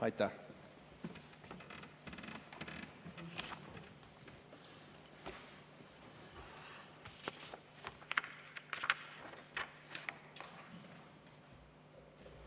Aitäh!